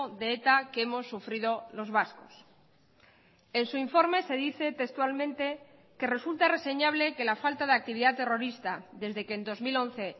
de eta que hemos sufrido los vascos en su informe se dice textualmente que resulta reseñable que la falta de actividad terrorista desde que en dos mil once